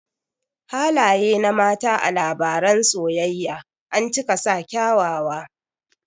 Halaye na mata a labaran soyayya ancika sa kyawawa